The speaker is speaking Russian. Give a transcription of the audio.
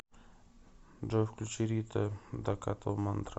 джой включи рита дакота мантра